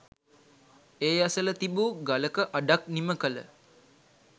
ඒ අසල තිබූ ගලක අඩක් නිමකළ